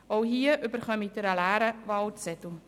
Auch hier erhalten Sie einen leeren Wahlzettel.